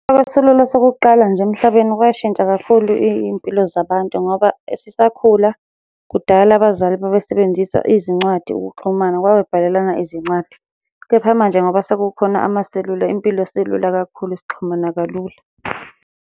Amaselula sokuqala nje emhlabeni kwashintsha kakhulu iy'mpilo zabantu ngoba sisakhula, kudala abazali babesebenzisa izincwadi ukuxhumana, babebhalelana izincwadi, kepha manje ngoba sekukhona amaselula impilo isilula kakhulu, sixhumana kalula.